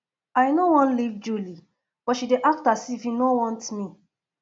i no wan leave julie but she dey act as if he no want me